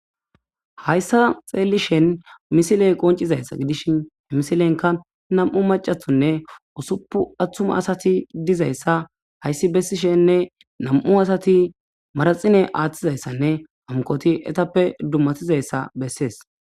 Hayisan xelishin misilenka na'mu mac'atinne usupun atuma asati dizayisa hayisi besishenne na'mu asati maraxinne atidayisanne hankoti etappe dumatidayisa besees